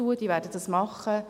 Sie werden es tun.